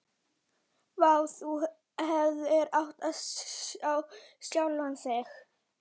Vá, þú hefðir átt að sjá sjálfan þig.